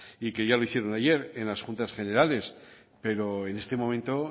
y que ya lo hicieron ayer en las juntas generales pero en este momento